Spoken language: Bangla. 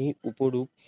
এই উপরুপ।